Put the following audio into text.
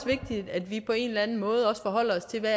vigtigt at vi på en eller anden måde forholder os til hvad